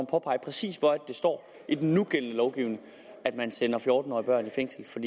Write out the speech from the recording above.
påpege præcis hvor det står i den nugældende lovgivning at man sender fjorten årige børn i fængsel